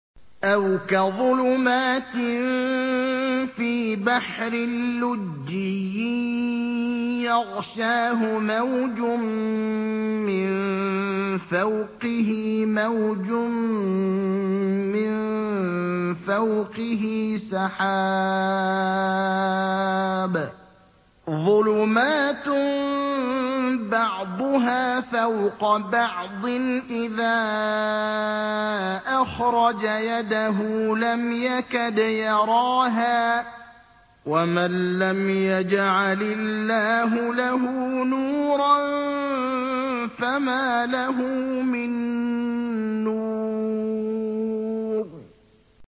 أَوْ كَظُلُمَاتٍ فِي بَحْرٍ لُّجِّيٍّ يَغْشَاهُ مَوْجٌ مِّن فَوْقِهِ مَوْجٌ مِّن فَوْقِهِ سَحَابٌ ۚ ظُلُمَاتٌ بَعْضُهَا فَوْقَ بَعْضٍ إِذَا أَخْرَجَ يَدَهُ لَمْ يَكَدْ يَرَاهَا ۗ وَمَن لَّمْ يَجْعَلِ اللَّهُ لَهُ نُورًا فَمَا لَهُ مِن نُّورٍ